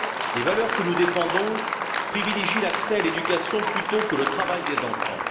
Les valeurs que nous défendons privilégient l'accès à l'éducation plutôt que le travail des enfants.